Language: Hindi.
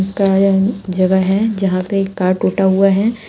जगह है जहां पे कार टूटा हुआ है।